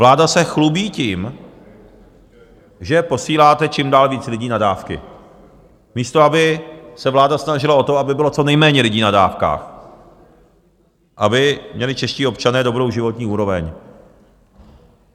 Vláda se chlubí tím, že posíláte čím dál víc lidí na dávky, místo aby se vláda snažila o to, aby bylo co nejméně lidí na dávkách, aby měli čeští občané dobrou životní úroveň.